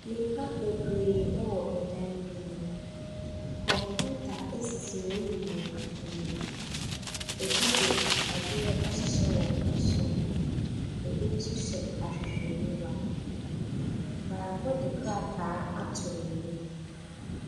Nnipa bebree wɔ dan bi mu. Kɔmputa sisi wɔn nyinaa anim. Ebi de adeɛ ahyehyɛ wɔn asom. Ebi nso hyɛ ahwehwɛniwa. Baako de krataa ato n'anim.